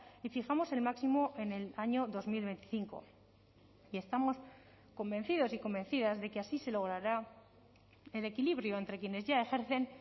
y fijamos el máximo en el año dos mil veinticinco y estamos convencidos y convencidas de que así se logrará el equilibrio entre quienes ya ejercen